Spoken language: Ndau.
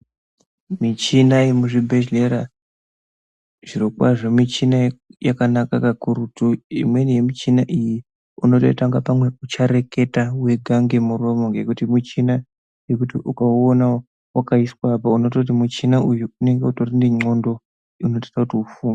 Michina ye muzvi bhedhlera zviro kwazvo michina yakanaka ka kurutu imweni ye muchina iyi unotoita kunga pamwe ucha reketa wega nge muromo ngekuti muchina yekuti uka uona wakaiswa apa unoti muchina uyu unenge utori ne ndxondo inoita kuti ufunge.